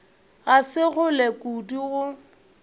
ga se kgole kudu go